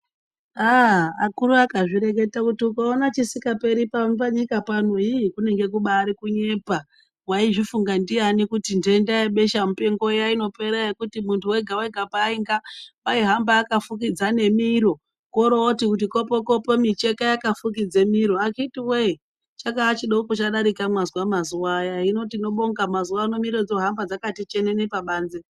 Aa akuru akazvireketa kuti ukaona chisikaperi panyika pano ii kungenge kubari kunyepa, waizvifunga ndiani kuti ntenda yebesha mupengo iya inopera yekuti muntu wega-wega painga waihamba akafukidza nemiro koroti kuti kopo-kopo micheka yakafukidze miro akhiti woye chakaa chidoko chadarika mazuwa aya hino tinobonga mazuwano miro dzakuhamba dzakati chenene pabanze.